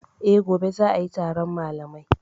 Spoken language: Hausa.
E, gobe za a yi taron malamai.